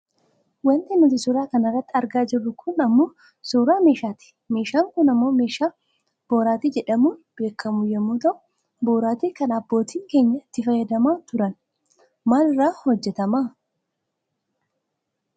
Wanti nuti suura kana irratti argaa jirru kun ammoo suuraa meeshaati. Meeshaan kun ammoo meeshaa boraatii jedhamuun beekkamu yoo ta'u, boraatii kana aabboottiin keenya itti fayyadamaa turan . Maal irraa hojjatama?